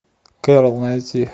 кэрол найти